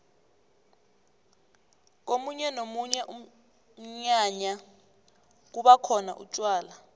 komunye nomunye umnyanya kubakhona utjwala